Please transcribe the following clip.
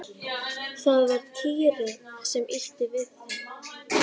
Það var Týri sem ýtti við þeim.